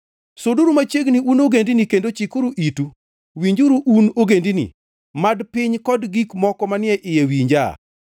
Suduru machiegni, un ogendini kendo chikuru itu; winjuru, un ogendini! Mad piny kod gik moko manie iye winja!